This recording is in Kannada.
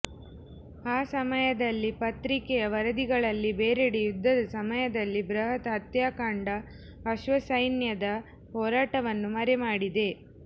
ಆ ಸಮಯದಲ್ಲಿ ಪತ್ರಿಕೆಯ ವರದಿಗಳಲ್ಲಿ ಬೇರೆಡೆ ಯುದ್ಧದ ಸಮಯದಲ್ಲಿ ಬೃಹತ್ ಹತ್ಯಾಕಾಂಡ ಅಶ್ವಸೈನ್ಯದ ಹೋರಾಟವನ್ನು ಮರೆಮಾಡಿದೆ